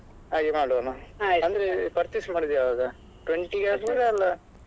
ಹಾಗೆ ಮಾಡುವನ ಅಂದ್ರೆ purchase ಮಾಡುವುದು ಯಾವಾಗ? twenty ಗೆ ಆಗ್ಬೋದಾ?